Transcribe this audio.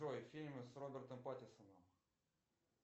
джой фильмы с робертом паттисоном